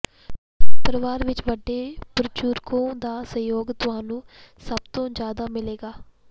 ਪਰਵਾਰ ਵਿੱਚ ਵੱਡੇ ਬੁਜੁਰਗੋਂ ਦਾ ਸਹਿਯੋਗ ਤੁਹਾਨੂੰ ਸਭਤੋਂ ਜਿਆਦਾ ਮਿਲੇਗਾ